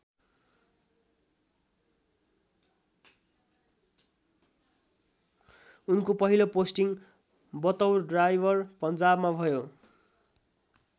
उनको पहिलो पोस्टिङ बतौर ड्राइवर पन्जाबमा भयो।